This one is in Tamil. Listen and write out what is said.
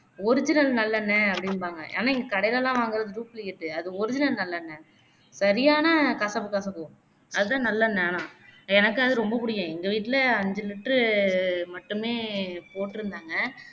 original நல்லெண்ணை அப்படிம்பாங்க ஆனா இது கடைலேலாம் வாங்குறது duplicate அது original நல்லெண்ணை சரியான கசப்பு கசக்கும் அதான் நல்லெண்ணை ஆன எனக்கு அது ரொம்ப பிடிக்கும் எங்க வீட்டிலே ஐந்து liter மட்டுமே போட்டிருந்தாங்க